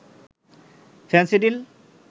Phensedyl